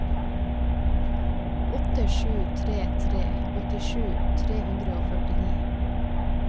åtte sju tre tre åttisju tre hundre og førtini